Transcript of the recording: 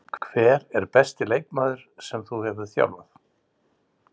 Hver er besti leikmaður sem þú hefur þjálfað?